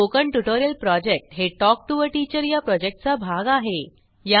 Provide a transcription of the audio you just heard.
spoken tutorial project हे talk to teacher या प्रॉजेक्टचा भाग आहे